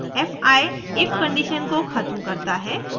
fi if condition को ख़त्म करता है